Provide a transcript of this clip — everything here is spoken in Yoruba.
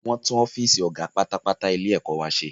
Wọ́n tún ọ́fìsì ọ̀gá pátápátá ilé ẹ̀kọ́ wa ṣe